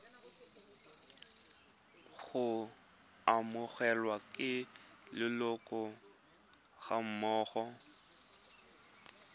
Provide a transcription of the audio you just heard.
go amogelwa ke leloko gammogo